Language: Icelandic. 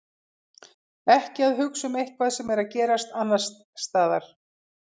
Ekki að hugsa um eitthvað sem er að gerast annars staðar.